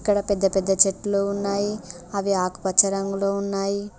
ఇక్కడ పెద్ద పెద్ద చెట్లు ఉన్నాయి అవి ఆకుపచ్చ రంగులో ఉన్నాయి.